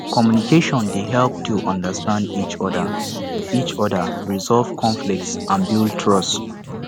communication dey help to understand each oda each oda resolve conflicts and build trust